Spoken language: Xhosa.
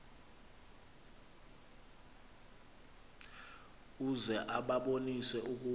uze ubabonise ukuba